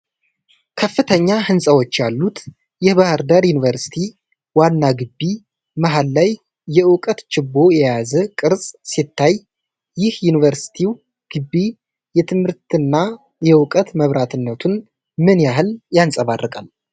ከፍተኛ ህንጻዎች ያሉት የባህር ዳር ዩኒቨርሲቲ ዋና ግቢ፣ መሀል ላይ የእውቀት ችቦ የያዘ ቅርጽ ሲታይ፣ ይህ የዩኒቨርሲቲው ግቢ የትምህርትና የእውቀት መብራትነቱን ምን ያህል ያንፀባርቃል?